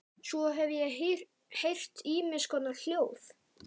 Svo hef ég heyrt ýmiss konar hljóð.